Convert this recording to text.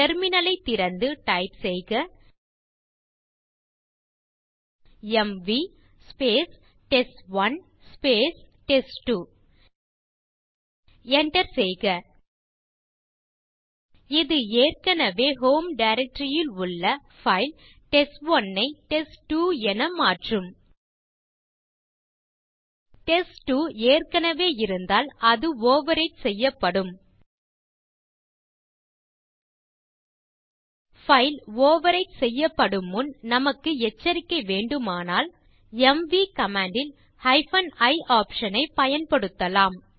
terminal திறந்து type செய்க M V test one test two enter செய்க இது ஏற்கனவே ஹோம் டைரக்டரி ல் உள்ள பைல் டெஸ்ட்1 ஐ டெஸ்ட்2 என மாற்றும் டெஸ்ட்2 ஏற்கனவே இருந்தால் இது ஓவர்விரைட் செய்யப்படும் பைல் ஓவர்விரைட் செய்யப்படும் முன் நமக்கு எச்சரிக்கை வேண்டுமானால் எம்வி கமாண்ட் ல் i ஆப்ஷன் ஐப் பயன்படுத்தலாம்